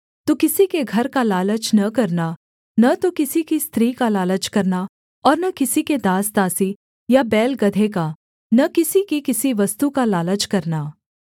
तू किसी के घर का लालच न करना न तो किसी की पत्नी का लालच करना और न किसी के दासदासी या बैल गदहे का न किसी की किसी वस्तु का लालच करना